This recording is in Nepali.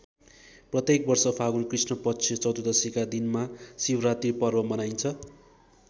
प्रत्येक वर्ष फागुन कृष्णपक्ष चतुर्दशीका दिनमा शिवरात्री पर्व मनाइन्छ।